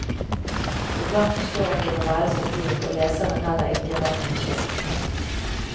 Iblant forstår ikke novellens figur, og leseren heller ikke, hva som skjer.